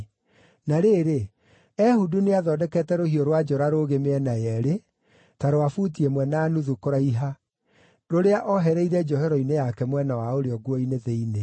Na rĩrĩ, Ehudu nĩathondekete rũhiũ rwa njora rũũgĩ mĩena yeerĩ, ta rwa buti ĩmwe na nuthu kũraiha rũrĩa oohereire njohero-inĩ yake mwena wa ũrĩo nguo-inĩ thĩinĩ.